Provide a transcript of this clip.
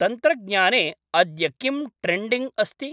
तन्त्रज्ञाने अद्य किम् ट्रेण्डिंग् अस्ति